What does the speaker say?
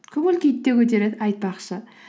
көңіл күйді де көтереді айтпақшы